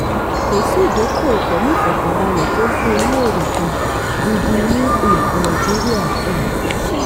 kò sí ìdókòòwò pẹ̀lú ìfọkànbalẹ̀ tó fún ní èrè um gidi ní um nàìjíríà. um